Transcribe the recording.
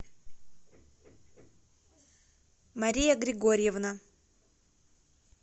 мария григорьевна